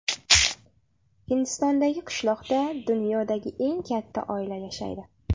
Hindistondagi qishloqda dunyodagi eng katta oila yashaydi.